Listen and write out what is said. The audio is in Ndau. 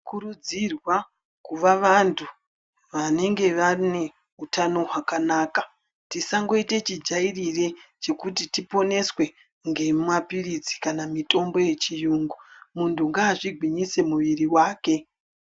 Kurudzirwa kuva vantu, vanenge vane utano hwakanaka Tisangoite chijairire chekuti tiponeswe ngemapilitsi kana ngemitombo yechiyungu. Muntu ngaazvigwinyise mwiiri wake.